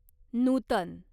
नूतन